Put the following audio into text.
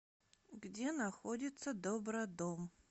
где находится добродом